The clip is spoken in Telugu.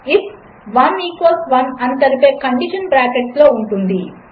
if 1 equals 1అనితెలిపేకండిషన్బ్రాకెట్లోఉంటుంది